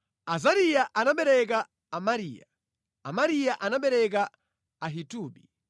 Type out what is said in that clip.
Azariya anabereka Amariya, Amariya anabereka Ahitubi,